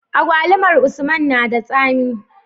Agwalumar usman nada tsami